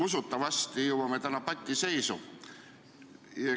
Usutavasti jõuame täna patiseisu.